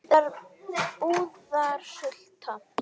Þetta var búðarsulta.